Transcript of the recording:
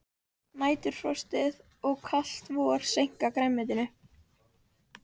Næturfrostið og kalt vor seinka grænmetinu